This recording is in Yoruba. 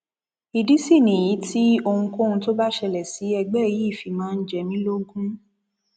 ìdí sì nìyí tí ohunkóhun tó bá ṣẹlẹ sí ẹgbẹ yìí fi máa ń jẹ mí lógún